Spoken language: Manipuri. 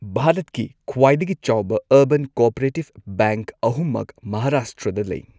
ꯚꯥꯔꯠꯀꯤ ꯈ꯭ꯋꯥꯏꯗꯒꯤ ꯆꯥꯎꯕ ꯑꯔꯕꯥꯟ ꯀꯣꯑꯣꯄꯔꯦꯇꯤꯕ ꯕꯦꯡꯛ ꯑꯍꯨꯝꯃꯛ ꯃꯍꯥꯔꯥꯁꯇ꯭ꯔꯗ ꯂꯩ꯫